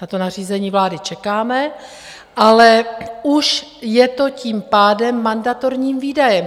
Na to nařízení vlády čekáme, ale už je to tím pádem mandatorním výdajem.